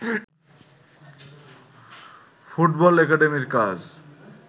football একাডেমীর কাজ